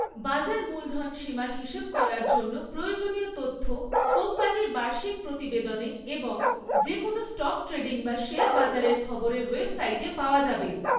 বাজার মূলধনসীমা হিসেব করার জন্য প্রয়োজনীয় তথ্য কোম্পানির বার্ষিক প্রতিবেদনে এবং যে কোনও স্টক ট্রেডিং বা শেয়ার বাজারের খবরের ওয়েবসাইটে পাওয়া যাবে।